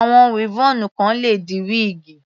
Àwọn weavon kan le di wíígì.